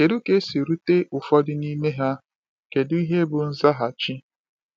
Kedu ka e siri rute ụfọdụ n’ime ha, kedu ihe bụ nzaghachi?